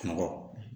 Nɔgɔ